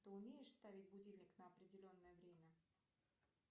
ты умеешь ставить будильник на определенное время